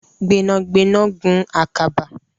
Gbẹnagbẹna gùn ạkàbà.